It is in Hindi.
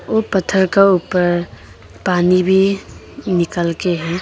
यो पत्थर का ऊपर पानी भी निकाल के है।